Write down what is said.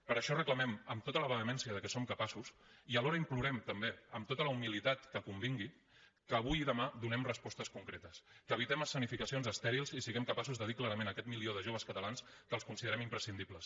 per això reclamem amb tota la vehemència de què som capaços i alhora implorem també amb tota la humilitat que convingui que avui i demà donem respostes concretes que evitem escenificacions estèrils i siguem capaços de dir clarament a aquest milió de joves catalans que els considerem imprescindibles